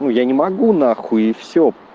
я не могу нахуй и всё